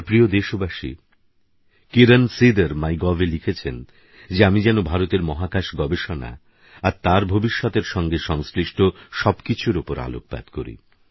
আমারপ্রিয়দেশবাসী কিরণসিদর মাইগভএলিখেছেনযেআমিযেনভারতেরমহাকাশগবেষণাআরতারভবিষ্যতেরসঙ্গেসংশ্লিষ্টসবকিছুরওপরআলোকপাতকরি